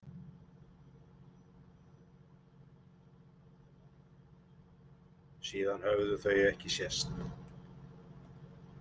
Síðan höfðu þau ekki sést.